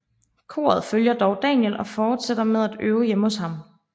Koret følger dog Daniel og fortsætter med at øve hjemme hos ham